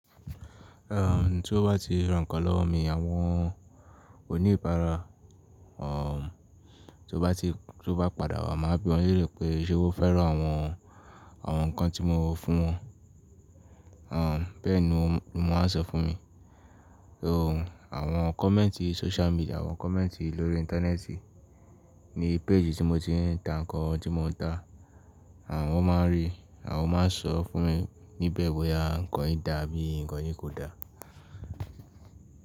Ehn, tí ó bá ti rán kan lowo mi, àwọn oníbàárà, o, tí ó bá ti, tí ó bá padà wá, máa bi wọn léèrè pé ṣe wọ́n fẹ́ràn àwọn, àwọn nǹkan tí mo fún wọn. O, bẹ́ẹ̀ ni wọ́n máa ń sọ fún mi. O, àwọn kọ̀mẹ́ǹtì social media, àwọn kọ̀mẹ́ǹtì lórí Íńtánẹ́ẹ̀tì ní péèjì tí mo ti ń ta nǹkan tí mo ń tà. Àwọn máa ń rí, àwọn máa ń sọ fún mi níbẹ̀ bóyá nǹkan yìí dà bí i nǹkan yìí kò dà.